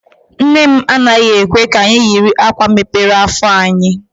Nne m anaghị ekwe ka anyị yiri akwa mepere afọ anyị.